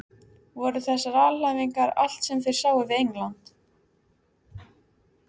Voru þessar alhæfingar allt sem þeir sáu við England?